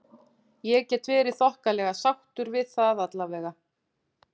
Ég get verið þokkalega sáttur við það allavega.